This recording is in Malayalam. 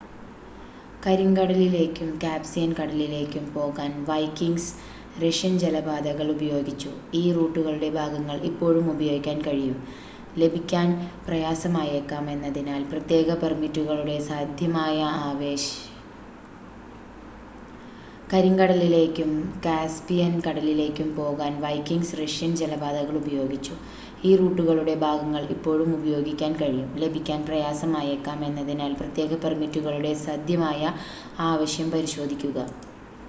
കരിങ്കടലിലേക്കും കാസ്പിയൻ കടലിലേക്കും പോകാൻ വൈക്കിംഗ്‌സ് റഷ്യൻ ജലപാതകൾ ഉപയോഗിച്ചു ഈ റൂട്ടുകളുടെ ഭാഗങ്ങൾ ഇപ്പോഴും ഉപയോഗിക്കാൻ കഴിയും ലഭിക്കാൻ പ്രയാസമായേക്കാം എന്നതിനാൽ പ്രത്യേക പെർമിറ്റുകളുടെ സധ്യമായ ആവശ്യം പരിശോധിക്കുക